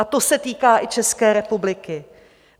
A to se týká i České republiky.